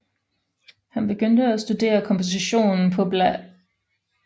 Han begyndte at studere komposition på bla